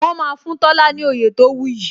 Wọn máa fún Tola ní oyè tó wu yi